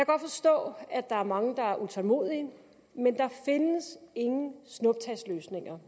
godt forstå at der er mange der er utålmodige men der findes ingen snuptagsløsninger